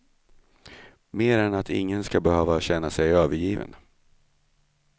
Mer än att ingen ska behöva känna sig övergiven.